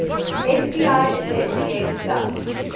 fbi investigators doubt